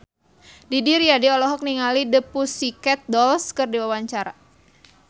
Didi Riyadi olohok ningali The Pussycat Dolls keur diwawancara